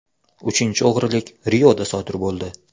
Uchinchi o‘g‘rilik Rioda sodir bo‘ldi.